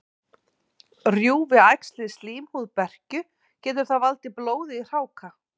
Rjúfi æxlið slímhúð berkju, getur það valdið blóði í hráka.